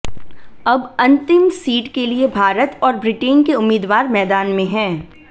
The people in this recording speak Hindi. अब अंतिम सीट के लिए भारत और ब्रिटेन के उम्मीदवार मैदान में हैं